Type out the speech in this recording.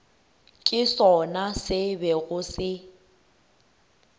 ke sona se bego se